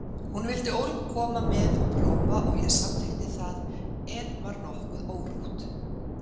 Hún vildi ólm koma með og prófa og ég samþykkti það en var nokkuð órótt.